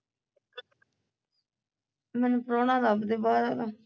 ਮੈਨੂੰ ਪਰਾਉਣਾ ਲਭਦੇ ਬਾਹਰ ਵਾਲਾ